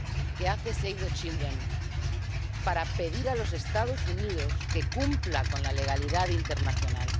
que hace Save the Children, para pedir a los Estados Unidos que cumplan con la legalidad internacional.